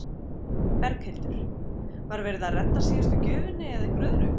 Berghildur: Var verið að redda síðustu gjöfinni eða einhverju öðru?